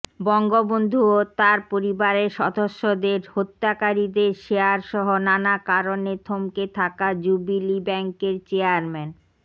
বঙ্গবন্ধু ও তাঁর পরিবারের সদস্যদের হত্যাকারীদের শেয়ারসহ নানা কারণে থমকে থাকা জুবিলী ব্যাংকের চেয়ারম্যান